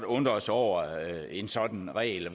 undre os over en sådan regel